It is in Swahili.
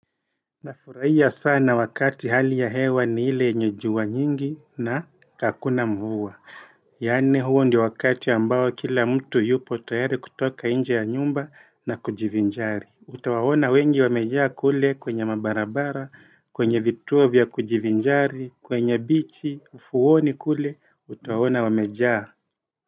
Nafurahia sana wakati hali ya hewa ni ile yenye jua nyingi na hakuna mvua yani huo ndio wakati ambao kila mtu yupo tayari kutoka inje ya nyumba na kujivinjari utawawona wengi wamejaa kule kwenye mabarabara kwenye vituo vya kujivinjari kwenye bichi ufuoni kule utawawona wamejaa.